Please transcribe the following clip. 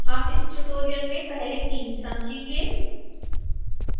हम इस ट्यूटोरियल में पहले तीन समझेंगे